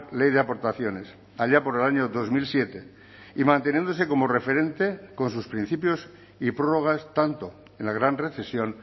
ley de aportaciones allá por el año dos mil siete y manteniéndose como referente con sus principios y prórrogas tanto en la gran recesión